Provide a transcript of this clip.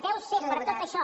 deu ser per tot això